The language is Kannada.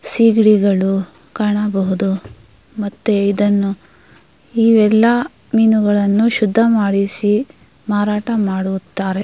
ಸೀಗಡಿಗಳು ಕಾಣಬಹುದು ಮತ್ತೆ ಇದನ್ನು ಇವೆಲ್ಲಾ ಮೀನುಗಳನ್ನು ಶುದ್ಧ ಮಾಡಿಸಿ ಮಾರಾಟ ಮಾಡುತ್ತಾರೆ.